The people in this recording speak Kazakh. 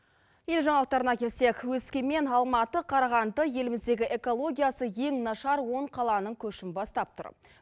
ел жаңалықтарына келсек өскемен алматы қарағанды еліміздегі экологиясы ең нашар он қаланың көшін бастап тұрып